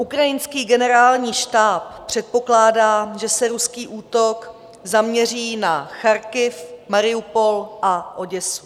Ukrajinský generální štáb předpokládá, že se ruský útok zaměří na Charkov, Mariupol a Oděsu.